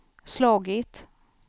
slagit